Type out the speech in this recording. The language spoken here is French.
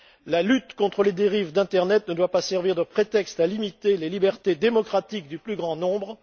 La lutte contre les dérives de l'internet ne doit pas servir de prétexte à limiter les libertés démocratiques du plus grand nombre.